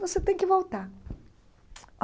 Você tem que voltar.